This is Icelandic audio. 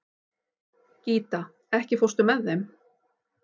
Gíta, ekki fórstu með þeim?